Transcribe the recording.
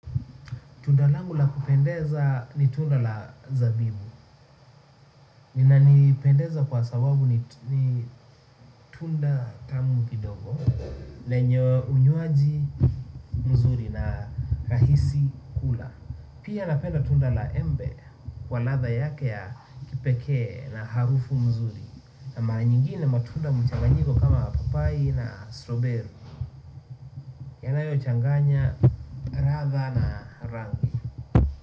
Tundalangu la kupendeza ni tunda la zabibu. Inanipendeza kwa sababu ni tunda tamukiidogo, lenye unywaji mzuri na rahisi kula. Pia napenda tunda la embe kwa ladha yake ya kipekee na harufu mzuri. Na mara nyingine matunda mchanganyiko kama papai na strow berry. Yanayo changanya ladha na rangi.